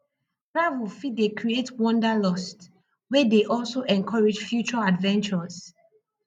travel fit dey create wanderlust wey dey also encourage future adventures